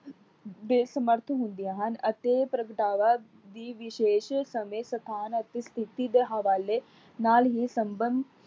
ਬੇਸਮ੍ਰਥ ਹੁੰਦੀਆਂ ਹਨ ਅਤੇ ਪ੍ਰਗਟਾਵਾ ਦੀ ਵਿਸ਼ੇਸ਼ ਸਮੇਂ ਤੂਫ਼ਾਨ ਅਤੇ ਸਥਿਤੀ ਦੇ ਹਵਾਲੇ ਨਾਲ ਹੀ ਸਬੰਧ